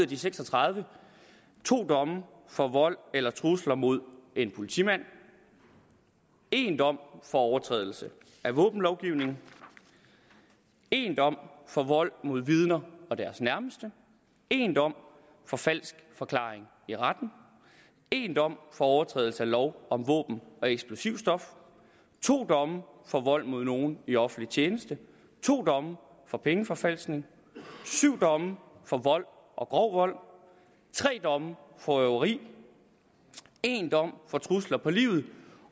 de seks og tredive to domme for vold eller trusler mod en politimand en dom for overtrædelse af våbenlovgivningen en dom for vold mod vidner og deres nærmeste en dom for falsk forklaring i retten en dom for overtrædelse af lov om våben og eksplosivstoffer to domme for vold mod nogle i offentlig tjeneste to domme for pengeforfalskning syv domme for vold og grov vold tre domme for røveri en dom for trusler på livet